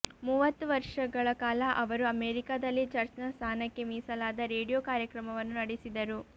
ಮೂವತ್ತು ವರ್ಷಗಳ ಕಾಲ ಅವರು ಅಮೆರಿಕದಲ್ಲಿ ಚರ್ಚ್ನ ಸ್ಥಾನಕ್ಕೆ ಮೀಸಲಾದ ರೇಡಿಯೋ ಕಾರ್ಯಕ್ರಮವನ್ನು ನಡೆಸಿದರು